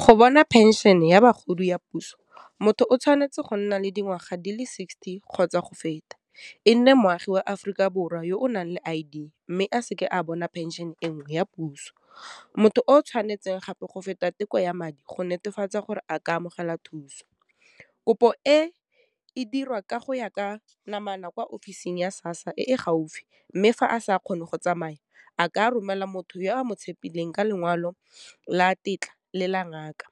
Go bona phenšene ya bagodi ya puso, motho o tshwanetse go nna le dingwaga di le sixty, kgotsa go feta, e nne moagi wa Aforika Borwa yo o nang le I_D, mme a seke a bona phenšene enngwe ya puso, motho o tshwanetse gape go feta teko ya madi go netefatsa gore a ka amogela thuso. Kopo e e dirwa ka go ya ka namana kwa office-ing ya sassa e gaufi, mme fa a sa kgone go tsamaya, a ka romela motho yo a mo tshepileng ka lekwalo la tetla le la ngaka.